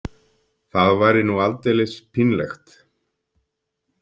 Það væri nú aldeilis pínlegt.